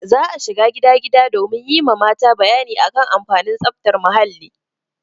Za a shiga gida gida domin yi ma mata bayani a kan amfanin tsaftar muhalli.